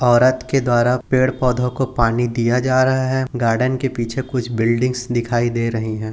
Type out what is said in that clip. औरत के द्वारा पेड़ पौधों को पानी दिया जा रहा है गार्डन के पीछे कुछ बिल्डिंगस दिखाई दे रही है।